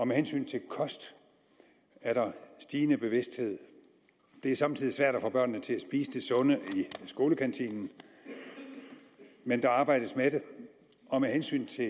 med hensyn til kost er der stigende bevidsthed det er somme tider svært at få børnene til at spise det sunde i skolekantinen men der arbejdes med det og med hensyn til